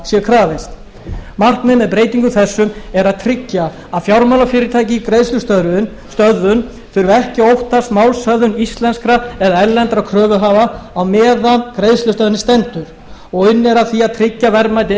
sé krafist markmið með breytingum þessum er að tryggja að fjármálafyrirtæki í greiðslustöðvun þurfi ekki að óttast málshöfðun íslenskra eða erlendra kröfuhafa meðan á greiðslustöðvuninni stendur og unnið er að því að tryggja verðmæti